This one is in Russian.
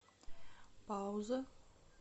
пауза